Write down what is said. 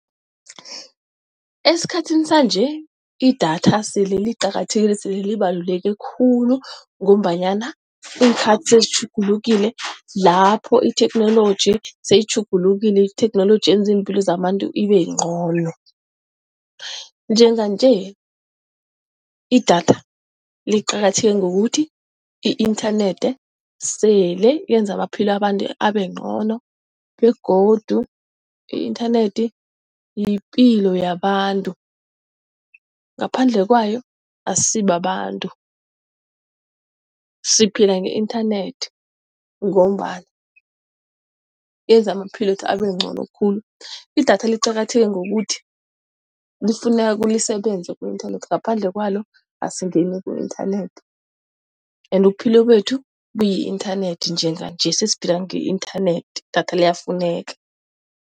Esikhathini sanje, idatha sele liqakathekile sele libaluleke khulu ngombanyana iinkhathi sezitjhugulukile lapho itheknoloji seyitjhugulukile itheknoloji yenza iimpilo zabantu ibe ncono. Njenganje idatha liqakatheke ngokuthi i-inthanethi sele yenza amaphilo wabantu abencono begodu i-inthanethi yipilo yabantu, ngaphandle kwayo asisibabantu. Siphila nge-inthanethi ngombana yenza amaphilwethu abencono khulu idatha liqakatheke ngokuthi, lifuneka lisebenze ku-inthanethi ngaphandle kwalo asingeni ku-inthanethi. Ende ubuphilo bethu buyi-inthanethi njenganje sesiphila nge-inthanethi idatha liyafuneka.